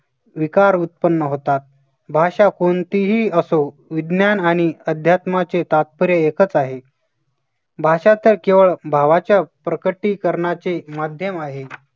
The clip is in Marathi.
विकार उत्पन्न होतात. भाषा कोणतीही असो विज्ञान आणि अध्यात्माचे तात्पर्य एकचं आहे, भाषांतर केवळ भावाच्या प्रकटीकरणाचे माध्यम आहे